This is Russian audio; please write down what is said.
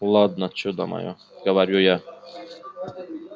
ладно чудо моё говорю я